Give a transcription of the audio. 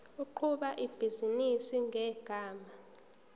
oqhuba ibhizinisi ngegama